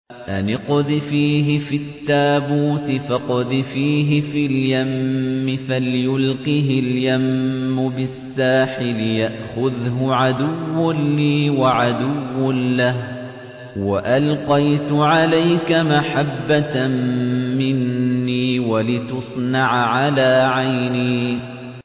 أَنِ اقْذِفِيهِ فِي التَّابُوتِ فَاقْذِفِيهِ فِي الْيَمِّ فَلْيُلْقِهِ الْيَمُّ بِالسَّاحِلِ يَأْخُذْهُ عَدُوٌّ لِّي وَعَدُوٌّ لَّهُ ۚ وَأَلْقَيْتُ عَلَيْكَ مَحَبَّةً مِّنِّي وَلِتُصْنَعَ عَلَىٰ عَيْنِي